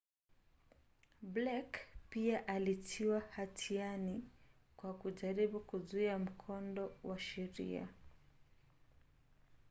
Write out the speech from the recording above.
blake pia alitiwa hatiani kwa kujaribu kuzuia mkondo wa sheria